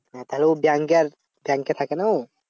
তাহলে ও ব্যাংকে আর ব্যাংকে থাকে না ও?